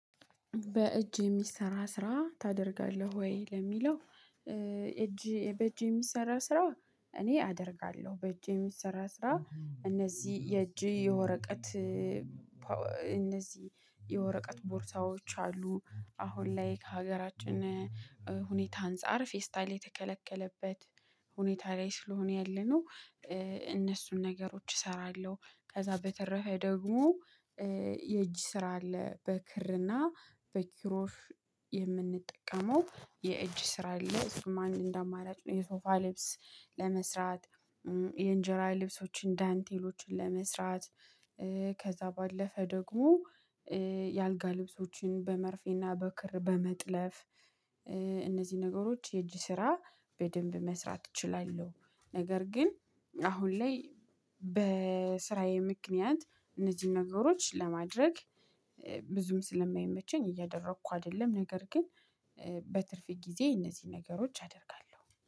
በእጅ የሚሰራ ስራ ታደርጋለህ ወይ ለሚለው? እጅ በእጅ የሚሰራ ስራ እኔ አደርጋለሁ በእጅ የሚሰራ ስራ እነዚህ የእጅ የወረቀት። እነዚህ የወረቀት ቦርሳዎች አሉ አሁን ላይ ከሀገራችን ሁኔታ አንፃር ፌስታል የተከለከለበት ሁኔታ ላይ ስለሆነ ያለነው እነሱን ነገሮች እሰራለሁ። ከዛ በተረፈ ደግሞ የእጅ ስራ አለ በክርና በኪሮሽ የምንጠቀመው የእጅ ስራ አለ እሱም አንድ እንደአማራጭ ነው። የሶፋ ልብስ ለመስራት የእንጀራ ልብሶችን ዳንቴሎችን ለመስራት ከዛ ባለፈ ደግሞ የአልጋ ልብሶችን በመርፌና በክር በመጥለፍ። እነዚህ ነገሮች የእጅ ስራ በደንብ መስራት እችላለሁ። ነገር ግን አሁን ላይ በስራዬ ምክንያት እነዚህን ነገሮች ለማድረግ ብዙም ስለማይመቸኝ እያደረኩ አይደለም ነገር ግን በትርፍ ጊዜ እነዚህ ነገሮች አደርጋለሁ